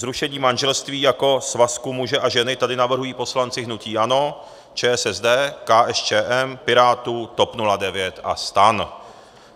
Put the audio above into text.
Zrušení manželství jako svazku muže a ženy tady navrhují poslanci hnutí ANO, ČSSD, KSČM, Pirátů, TOP 09 a STAN.